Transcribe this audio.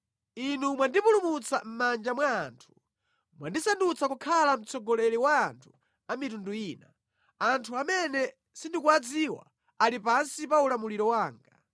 Inu mwandipulumutsa mʼmanja mwa anthu; mwandisandutsa kukhala mtsogoleri wa anthu a mitundu ina. Anthu amene sindikuwadziwa ali pansi pa ulamuliro wanga.